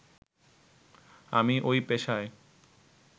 আমি ঐ পেশায়